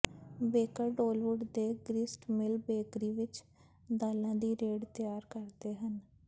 baker Dollywood ਦੇ grist mill bakery ਵਿਚ ਦਾਲਾਂ ਦੀ ਰੈਡ ਤਿਆਰ ਕਰਦੇ ਹਨ